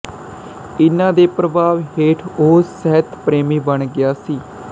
ਇਨ੍ਹਾਂ ਦੇ ਪ੍ਰਭਾਵ ਹੇਠ ਉਹ ਸਾਹਿਤਪ੍ਰੇਮੀ ਬਣ ਗਿਆ ਸੀ